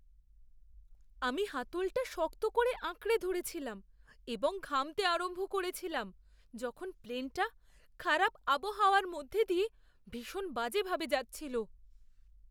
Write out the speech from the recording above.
আমি হাতলটা শক্ত করে আঁকড়ে ধরেছিলাম এবং ঘামতে আরম্ভ করেছিলাম যখন প্লেনটা খারাপ আবহাওয়ার মধ্যে দিয়ে ভীষণ বাজেভাবে যাচ্ছিল।